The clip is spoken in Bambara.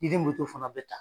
I den fana be ta.